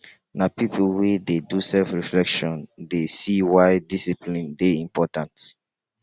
na pipo wey dey do self-reflection dey see why discipline dey important.